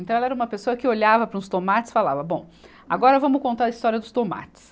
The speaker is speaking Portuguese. Então, ela era uma pessoa que olhava para os tomates e falava, bom, agora vamos contar a história dos tomates.